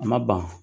A ma ban